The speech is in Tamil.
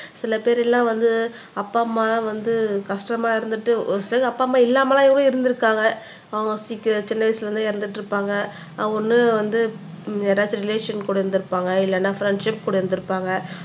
சில பேர் எல்லாம் வந்து அப்பா அம்மா வந்து கஷ்டமா இருந்துட்டு ஒரு சிலர் அப்பா அம்மா இல்லாமலாம் கூட இருந்திருக்காங்க அவங்க சீக்கிரம் சின்ன வயசுல வந்து இறந்துட்டு இருப்பாங்க அவங்க ஒண்ணு வந்து யாரவது ரிலேஷன் கூட இருந்திருப்பாங்க இல்லன்னா ஃப்ரெண்ட்ஷிப் கூட இருந்திருப்பாங்க